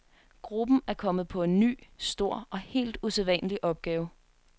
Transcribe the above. Gruppen er kommet på en ny, stor og helt usædvanlig opgave.